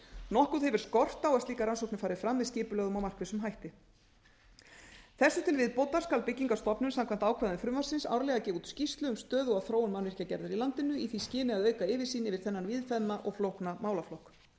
nokkuð hefur skort á að slíkar rannsóknir fari fram með skipulögðum og markvissum hætti þessu til viðbótar skal byggingarstofnun samkvæmt ákvæðum frumvarpsins árlega gefa út skýrslu um stöðu og þróun mannvirkjagerðar í landinu í því skyni að auka yfirsýn yfir þennan víðfeðma og flókna málaflokk